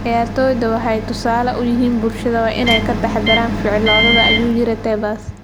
"Ciyaartoyda waxay tusaale u yihiin bulshada, waana inay ka taxadaraan ficiladooda," ayuu yiri Tebas.